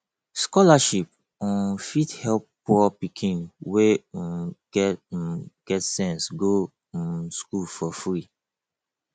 scholarship um fit help poor pikin wey um get um get sense go um school for free